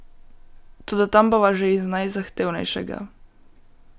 Toda tam bova že iz najzahtevnejšega!